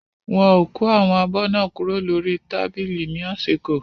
Wọ́n ò kó àwọn abọ́ náà kúrò lórí tábìlì ní àsìkò.